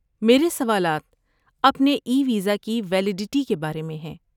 میرے سوالات اپنے ای ویزا کی ویلیڈٹی کے بارے میں ہیں